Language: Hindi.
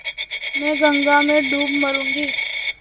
मैं गंगा में डूब मरुँगी